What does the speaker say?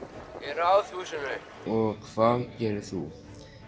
Ráðhúsinu hvað gerir þú